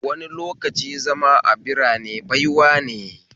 Wani lokaci zama a birarene baiwane